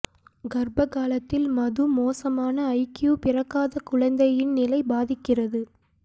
கர்ப்ப காலத்தில் மது மோசமான ஐக்யூ பிறக்காத குழந்தையின் நிலை பாதிக்கிறது